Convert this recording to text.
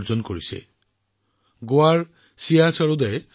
ভাৰোত্তোলনত ২টা স্বৰ্ণ পদকসহ চাৰিটা পদক লাভ কৰে গোৱাৰ ছিয়া সৰোদে